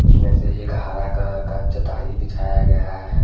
कुछ वैसे एक हरा कलर का चटाई बिछाया गया है।